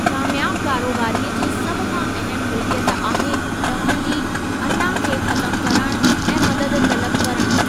कामयाब कारोबारीअ जी सभ खां अहमु मिलिकियत आहे, तव्हां जी अना खे ख़तमु करणु ऐं मदद तलब करणु।